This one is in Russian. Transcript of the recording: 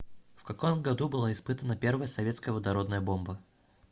в каком году была испытана первая советская водородная бомба